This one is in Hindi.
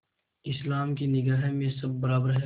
इस्लाम की निगाह में सब बराबर हैं